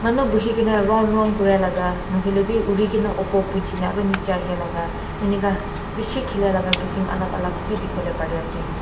Manu buhi kena round round kuri laga nahoilebi uri kena upor punchi na aro niche ahi laga enika beshi khili laga kisam alak alak bi dekhiwole pari ase.